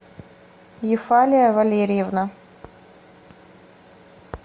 ефалия валерьевна